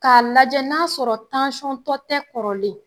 K'a lajɛ n'a sɔrɔ tansɔntɔ tɛ kɔrɔlen